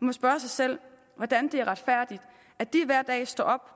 må spørge sig selv hvordan det retfærdigt at de hver dag står op